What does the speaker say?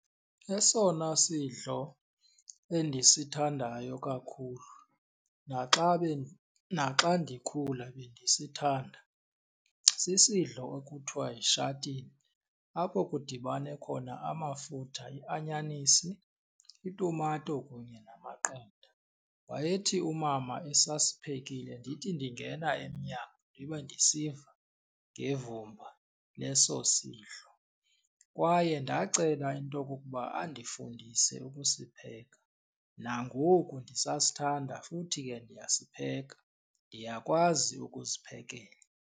Esona sidlo endisithandayo kakhulu naxa , naxa ndikhula bendisithanda sisidlo ekuthiwa yishatini apho kudibane khona amafutha, ianyanisi, itumato kunye namaqanda. Wayethi umama esasiphekile ndithi ndingena emnyango ndibe ndisiva ngevumba leso sidlo kwaye ndacela into okokuba andifundise ukusipheka. Nangoku ndisasithanda futhi ke ndiyasipheka, ndiyakwazi ukuziphekela.